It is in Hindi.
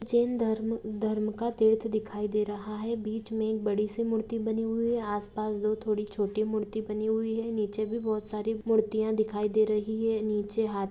जैन धर्म म-उ धर्म का तीर्थ दिखई दे रहा है बीच में बड़ी मूर्ति बनी हुई है आसपास दो थोड़ी छोटी मूर्ति बनी हुई है नीचे भी बहुत सारी मुर्तिया दिखई दे रही है। नीचे हां --